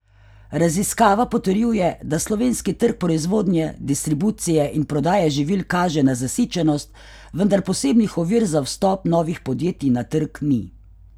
Raziskava potrjuje, da slovenski trg proizvodnje, distribucije in prodaje živil kaže na zasičenost, vendar posebnih ovir za vstop novih podjetij na trg ni.